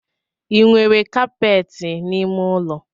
I nwere kapeti n’ime ụlọ?